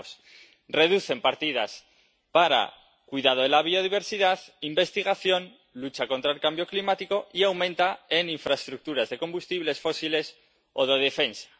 Veamos reducen partidas para cuidado de la biodiversidad, investigación, lucha contra el cambio climático y las aumentan en infraestructuras de combustibles fósiles o de defensa.